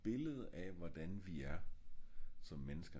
billede af hvordan vi er som mennesker